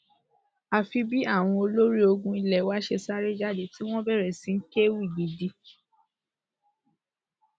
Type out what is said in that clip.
àfi bí àwọn olórí ológun ilé wa ṣe sáré jáde tí wọn bẹrẹ sí í kẹ ewì gidi